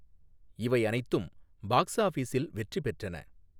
இவை அனைத்தும் பாக்ஸ் ஆபிஸில் வெற்றி பெற்றன.